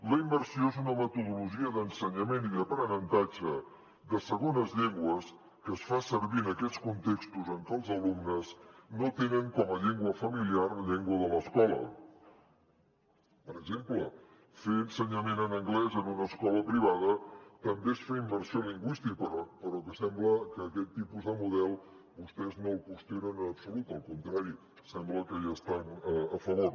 la immersió és una metodologia d’ensenyament i d’aprenentatge de segones llengües que es fa servir en aquells contextos en què els alumnes no tenen com a llengua familiar la llengua de l’escola per exemple fer ensenyament en anglès en una escola privada també és fer immersió lingüística però sembla que aquest tipus de model vostès no el qüestionen en absolut al contrari sembla que hi estan a favor